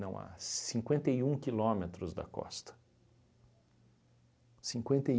Não, há cinquenta e um quilômetros da costa. Cinquenta e